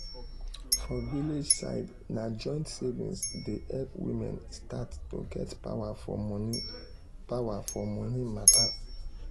for village side na joint savings dey help women start to get power for money power for money matter.